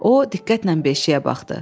O diqqətlə beşiyə baxdı.